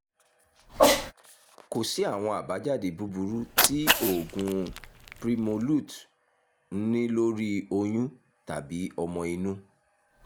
kò sí àwọn àbájáde búburú tí oògùn primolut n ní lórí oyún tàbí ọmọ inú